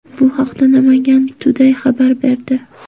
Bu haqda Namangan Today xabar berdi .